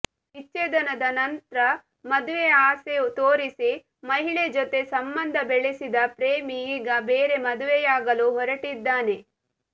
ವಿಚ್ಛೇದನದ ನಂತ್ರ ಮದುವೆ ಆಸೆ ತೋರಿಸಿ ಮಹಿಳೆ ಜೊತೆ ಸಂಬಂಧ ಬೆಳೆಸಿದ ಪ್ರೇಮಿ ಈಗ ಬೇರೆ ಮದುವೆಯಾಗಲು ಹೊರಟಿದ್ದಾನೆ